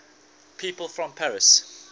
people from paris